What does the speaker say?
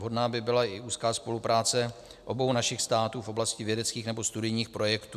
Vhodná by byla i úzká spolupráce obou našich států v oblasti vědeckých nebo studijních projektů.